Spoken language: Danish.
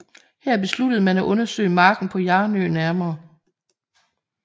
Her besluttede man at undersøge marken på Hjarnø nærmere